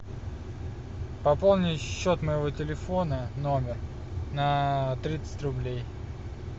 пополнить счет моего телефона номер на тридцать рублей